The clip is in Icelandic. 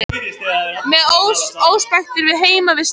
Með óspektir við heimavistina